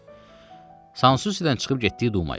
Sansusidən çıxıb getdik Dumaya.